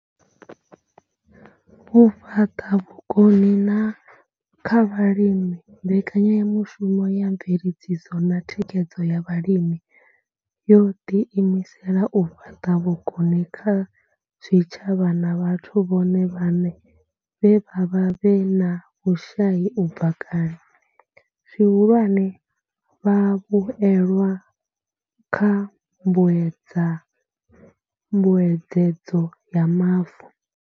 U fhaṱa vhukoni kha vhalimi mbekanyamushumo ya mveledziso na thikhedzo ya vhalimi yo ḓiimisela u fhaṱa vhukoni kha zwitshavha na vhathu vhone vhaṋe vhe vha vha vhe na vhushai u bva kale, zwihulwane, vhavhuelwa kha mbuedzedzo ya mavu.